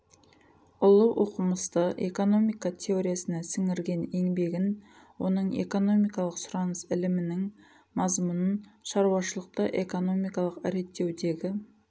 ұлы оқымысты экономика теориясына сіңірген еңбегін оның экономикалық сұраныс ілімінің мазмұнын шаруашылықты экономикалық реттеудегі